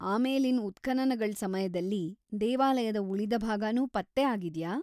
ಆಮೇಲಿನ್ ಉತ್ಖನನಗಳ್ ಸಮಯ್ದಲ್ಲಿ ದೇವಾಲಯದ ಉಳಿದ ಭಾಗನೂ ಪತ್ತೆ ಆಗಿದ್ಯಾ?